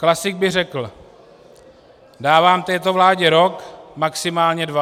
Klasik by řekl - dávám této vládě rok, maximálně dva.